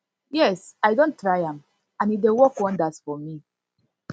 yes i don try am and e dey work wonders for me